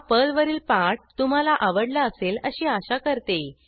हा पर्लवरील पाठ तुम्हाला आवडला असेल अशी आशा करते